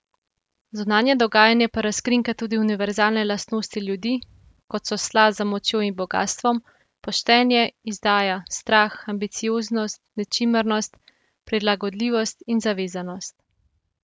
Zunanje dogajanje pa razkrinka tudi univerzalne lastnosti ljudi, kot so sla za močjo in bogastvom, poštenje, izdaja, strah, ambicioznost, nečimrnost, prilagodljivost in zavezanost.